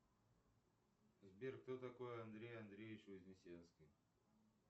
сбер кто такой андрей андреевич вознесенский